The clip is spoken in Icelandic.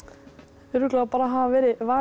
örugglega að hafa verið valin